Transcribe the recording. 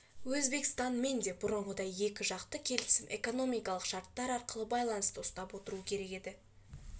де өзбекстанмен де бұрынғыдай екі жақты келісім экономикалық шарттар арқылы байланысты ұстап отыру керек еді